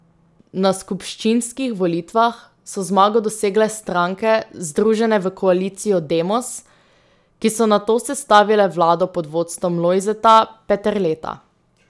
Na skupščinskih volitvah so zmago dosegle stranke, združene v koalicijo Demos, ki so nato sestavile vlado pod vodstvom Lojzeta Peterleta.